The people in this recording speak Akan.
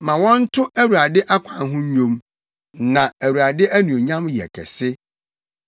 Ma wɔnto Awurade akwan ho nnwom, na Awurade anuonyam yɛ kɛse.